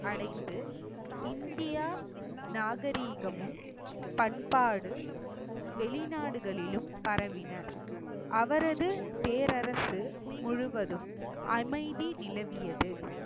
அடைந்து இந்தியா நாகரிகமும் பண்பாடு வெளிநாடுகளிலும் பரவின. அவரது பேரரசு முழுவதும் அமைதி நிலவியது